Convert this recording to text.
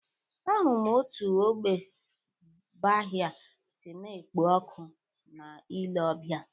Ahụrụ m otú ógbè Baha'i si na-ekpo ọkụ na ile ọbịa.